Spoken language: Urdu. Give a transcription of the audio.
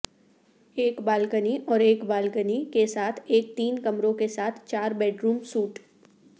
ایک بالکنی اور ایک بالکنی کے ساتھ ایک تین کمروں کے ساتھ چار بیڈروم سوئٹ